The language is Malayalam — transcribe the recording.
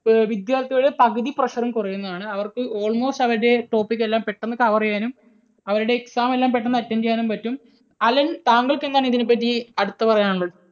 ഏർ വിദ്യാർത്ഥിയുടെ പകുതി pressure ഉം കുറയുന്നതാണ്. അവർക്ക് almost അവരുടെ topic എല്ലാം പെട്ടെന്ന് cover ചെയ്യാനും അവരുടെ exam എല്ലാം പെട്ടെന്ന് attempt ചെയ്യാനും പറ്റും. അലൻ താങ്കൾക്ക് എന്താണ് ഇതിനെപ്പറ്റി അടുത്തത് പറയാനുള്ളത്?